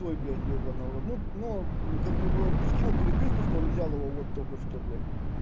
ой блядь ёбаный в рот ну ну как бы он скинул переписку что он взял его вот только что блядь